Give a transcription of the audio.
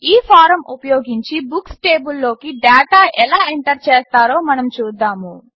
ఈ ఫారమ్ ఉపయోగించి బుక్స్ టేబుల్లోకి డాటా ఎలా ఎంటర్ చేస్తారో మనం చూద్దాము